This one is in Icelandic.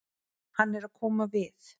Hann er að koma við.